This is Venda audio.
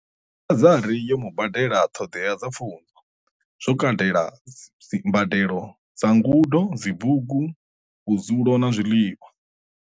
Bazari yo mu badelela ṱhoḓea dza pfunzo, zwo katela mbadelo dza ngudo, dzibugu, vhudzu lo na zwiḽiwa.